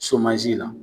la